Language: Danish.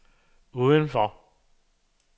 udenfor